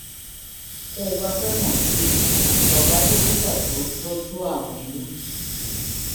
tó o bá fẹ́ mọ̀ sí i lọ bá dókítà tó ń tọ́jú àrùn inú